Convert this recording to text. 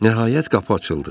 Nəhayət qapı açıldı.